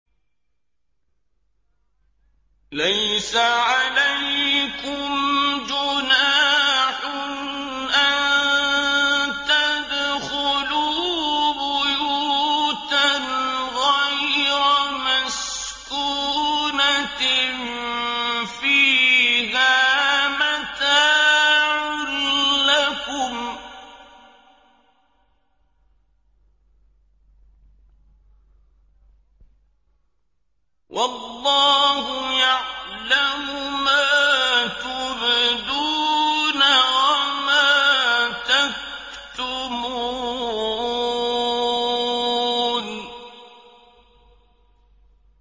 لَّيْسَ عَلَيْكُمْ جُنَاحٌ أَن تَدْخُلُوا بُيُوتًا غَيْرَ مَسْكُونَةٍ فِيهَا مَتَاعٌ لَّكُمْ ۚ وَاللَّهُ يَعْلَمُ مَا تُبْدُونَ وَمَا تَكْتُمُونَ